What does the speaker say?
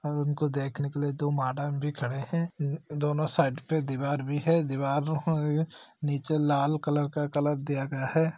और उनको देखने के लिए दो मैडम भी खड़े है द--दोनों साइड पे दीवार भी है दीवार है नीचे लाल कलर का कलर दिया गया है।